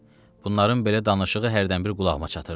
Bunların belə danışığı hərdən bir qulağıma çatırdı.